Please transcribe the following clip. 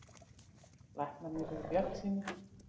Læknarnir eru bjartsýnir.